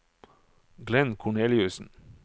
Glenn Korneliussen